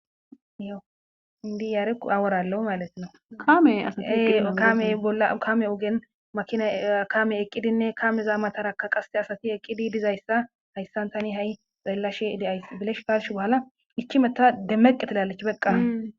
iyo indi yaarekku aworallo malettina kame ee kamey bolla kame ogen makina kaame eqqidinne kameza matarakka qase asati eqqidi dizayssa hayssan tani ha7i ballashe diayss bilesh galsh bohala ichi meta demmeqqetilaalech beqqa